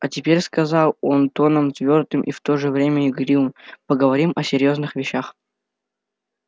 а теперь сказал он тоном твёрдым и в то же время игривым поговорим о серьёзных вещах